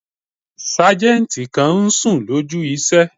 Sájẹ̀ntì kan n sùn lójú iṣẹ́